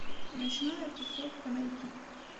ночная тусовка найти